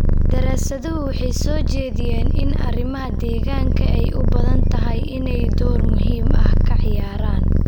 Daraasaduhu waxay soo jeediyeen in arrimaha deegaanka ay u badan tahay inay door muhiim ah ka ciyaaraan.